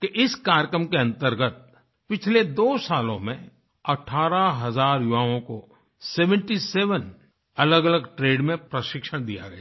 कि इस कार्यक्रम के अंतर्गत पिछले दो सालों में अठारह हज़ार युवाओं को77 सेवेंटी सेवेन अलगअलग ट्रेड में प्रशिक्षण दिया गया है